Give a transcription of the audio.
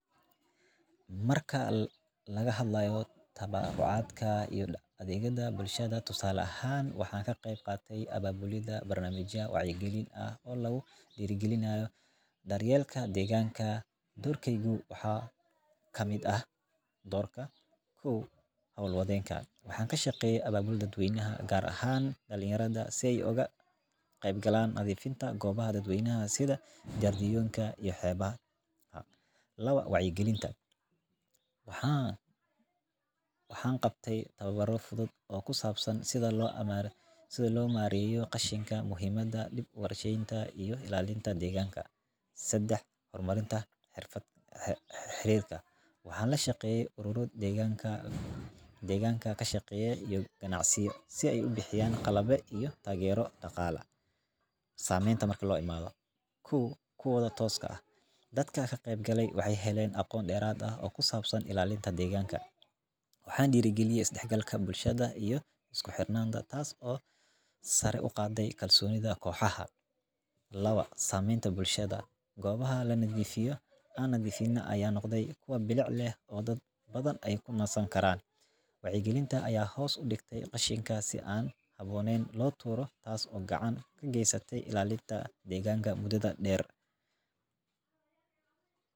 Marka laga hadlaayo tabarucaadka iyo daqalaha bulshada tusaale ahaan waxaan ka qeeb qaate ababulida barnamija wacyi galin ah oo lagu diiri galinaya daryeelka deeganka, doorkeygu waxaa kamid ah howl wadeenka, waxaan kashaqeeye dad weynaha gaar ahaan dalinyarada si aay uga qeyb galaan nadiifinta goobaha dad weynaha sida xeebaha, laba wacyi galinta waxaan qabte tababaro fudud oo kusabsan sida loo mareyo qashinka, muhimada dib uwar shadenta iyo ilaalinta deeganka, sedex hor marinta xiirka, waxaan la shaqeeye aruuro, deeganka kashaqeeya iyo ganacsiyo si aay ubixiyaan qalabyo iyo taagero daqaale, sameenta marka loo imaado, kow kuwada tooskooda ah aqoon deerad ah oo kusabsan ilaalinta deeganka, waxaan diiri galiye is dex galka bulshada iyo isku xirnaanta taas oo sare uqaade deeganka bulshada, laba sameenta bulshada goobaha lanadiifiyo aanan nadiifin ayaa noqde kuwa xirfad leh dad badan aay kunasan karaan, wacyi galinta ayaa hoos udigte qashinka si aan haboonen loo tuuro taas oo gacan ka geesate ilalinta degaanka mudada deer.